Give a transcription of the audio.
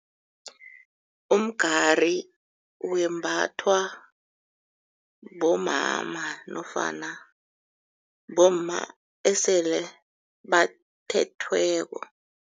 Umgari wembathwa bomama nofana bomma esele bathethweko.